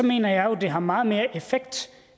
mener jeg jo har meget mere effekt